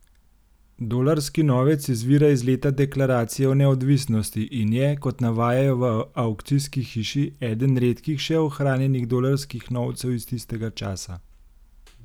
Dolarski novec izvira iz leta deklaracije o neodvisnosti in je, kot navajajo v avkcijski hiši, eden redkih še ohranjenih dolarskih novcev iz tistega časa.